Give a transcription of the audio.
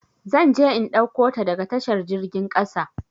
Zan je in ɗauko ta daga tashar jirgin kasa.